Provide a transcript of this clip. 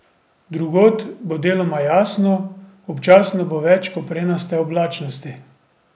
Drugod bo deloma jasno, občasno bo več koprenaste oblačnosti.